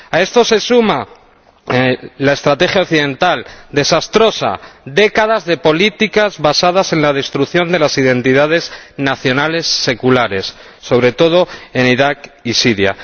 A esto se suma la estrategia occidental desastrosa décadas de políticas basadas en la destrucción de las identidades nacionales seculares, sobre todo en Irak y Siria.